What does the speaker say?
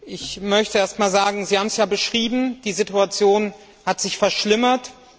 Ich möchte erst einmal sagen, Sie haben es ja beschrieben, die Situation hat sich verschlimmert.